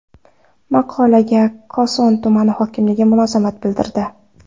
Maqolaga Koson tuman hokimligi munosabat bildirdi.